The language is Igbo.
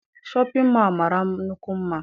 Shọpịn mọọ a mara nnukwu mma.